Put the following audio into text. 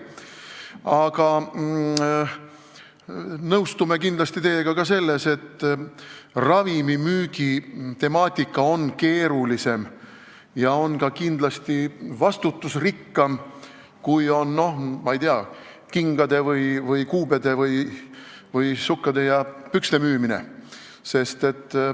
Aga nõustume kindlasti teiega ka selles, et ravimimüügi temaatika on keerulisem ja kindlasti ka vastutusrikkam kui kingade, kuubede või sukkade ja pükste müümine.